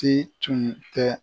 Te tun tɛ